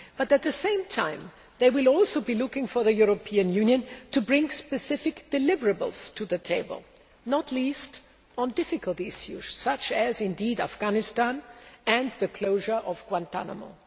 But, at the same time, they will also be looking for the European Union to bring specific deliverables' to the table not least on difficult issues such as Afghanistan and the closure of Guantánamo.